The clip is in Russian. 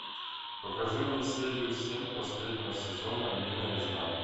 покажи мне серию семь последнего сезона мир наизнанку